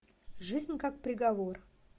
жизнь как приговор